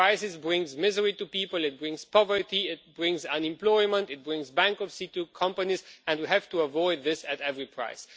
Crisis brings misery to people, it brings poverty, it brings unemployment, it brings bankruptcy to companies, and we have to avoid this at any price.